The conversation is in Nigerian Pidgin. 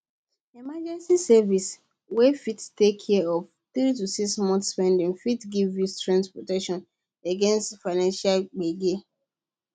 emergency savings wey fit take care of 3 to 6 months spending fit give you strong protection against financial gbege